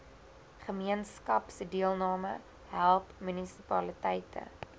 gemeenskapsdeelname help munisipaliteite